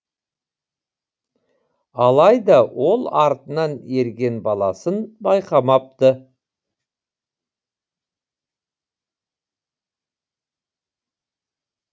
алайда ол артынан ерген баласын байқамапты